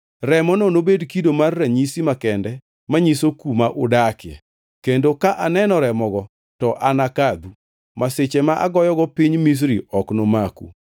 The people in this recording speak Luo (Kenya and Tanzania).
Remono nobed kido mar ranyisi makende manyiso kuma udakie kendo ka aneno remogo to anakadhu. Masiche ma agoyogo piny Misri ok nomaku.